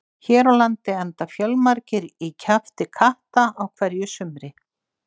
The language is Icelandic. Hér á landi enda fjölmargir í kjafti katta á hverju sumri.